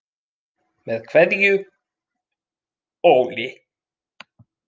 Með Kveðju Óli.